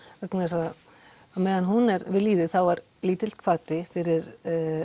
vegna þess á meðan hún er við lýði þá er lítill hvati fyrir